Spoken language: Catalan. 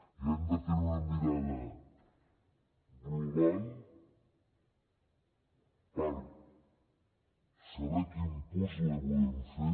i hem de tenir una mirada global per saber quin puzle volem fer